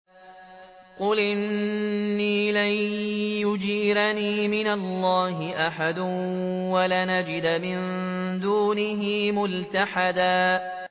قُلْ إِنِّي لَن يُجِيرَنِي مِنَ اللَّهِ أَحَدٌ وَلَنْ أَجِدَ مِن دُونِهِ مُلْتَحَدًا